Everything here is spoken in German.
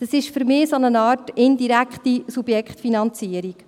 Das ist für mich eine Art indirekte Subjektfinanzierung.